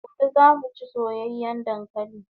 Gobe zamu chi soyayan dankalin